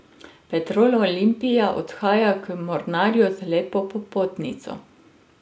Petrol Olimpija odhaja k Mornarju z lepo popotnico.